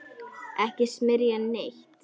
Ekki smyrja neitt.